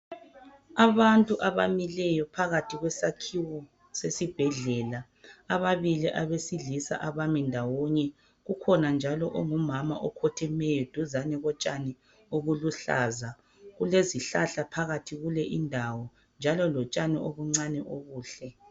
Abantu abamileyo phakathi kwesakhiwo sesibhedlela ababili abesilisa abami ndawonye kukhona njalo ongumama okhothemeyo duzani kotshani obuluhlaza kulezihlahla phakathi kule indawo njalo lotshani obuncane obuhle.